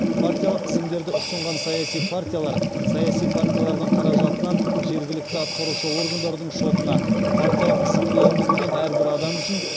партиялық тізімдерді ұсынған саяси партиялар саяси партиялардың қаражатынан жергілікті атқарушы органдардың шотына партиялық тізімге енгізілген әрбір адам үшін